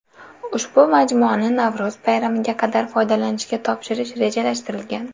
Ushbu majmuani Navro‘z bayramiga qadar foydalanishga topshirish rejalashtirilgan.